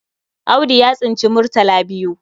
Audu ya tsinci murtal biyu.